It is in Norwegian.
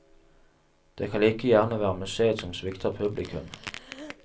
Det kan like gjerne være museet som svikter publikum.